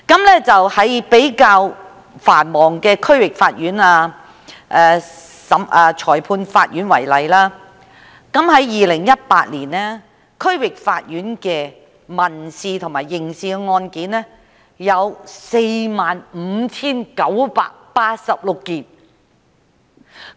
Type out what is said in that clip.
以比較繁忙的區域法院及裁判法院為例，在2018年，區域法院的民事和刑事案件有 45,986 宗。